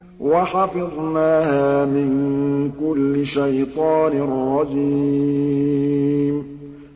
وَحَفِظْنَاهَا مِن كُلِّ شَيْطَانٍ رَّجِيمٍ